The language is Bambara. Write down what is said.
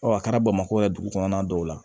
a kɛra bamakɔ yan dugu kɔnɔna dɔw la